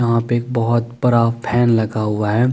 यहा पे एक बोहोत बड़ा फेन लगा हुआ है ।